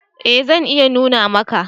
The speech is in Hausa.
E zan iya nuna maka.